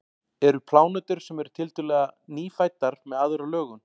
eru plánetur sem eru tiltölulega „nýfæddar“ með aðra lögun